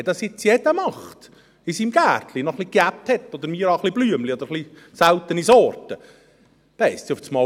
Wenn das jetzt jeder macht, in seinem Gärtchen noch etwas Unkraut hat oder ein paar Blümchen oder seltene Sorten, dann heisst es auf einmal: